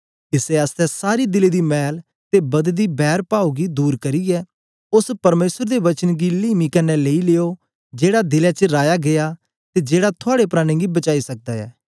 इसै आसतै सारी दिले दी मैल ते बददी बैरपाव गी दूर करियै ओस परमेसर दे वचन गी लीमी कन्ने लेई लियो जेड़ा दिले च राया गीया ते जेड़ा थुआड़े प्राणें गी बचाई सकदा ऐ